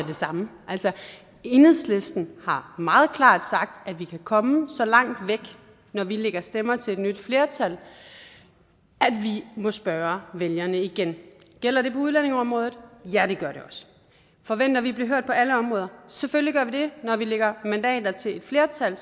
det samme enhedslisten har meget klart sagt at vi kan komme så langt væk når vi lægger stemmer til et nyt flertal at vi må spørge vælgerne igen gælder det på udlændingeområdet ja det gør det også forventer vi at blive hørt på alle områder selvfølgelig gør vi det når vi lægger mandater til et flertal